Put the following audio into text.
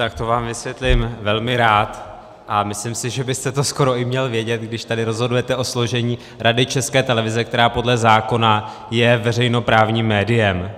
Tak to vám vysvětlím velmi rád a myslím si, že byste to skoro i měl vědět, když tady rozhodujete o složení Rady České televize, která podle zákona je veřejnoprávním médiem